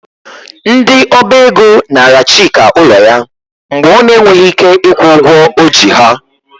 Ndị Ọba ego naara Chika ụlọ ya mgbe ọ na-enweghị ike ịkwụ ụgwọ o ji ha.